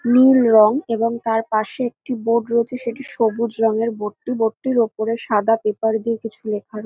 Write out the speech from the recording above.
নীল রং এবং তার পাশে একটি বোর্ড রয়েছে সেটি সবুজ রঙের বোর্ড টি বোর্ড টির ওপরে সাদা পেপার দিয়ে কিছু লেখা রয়ে--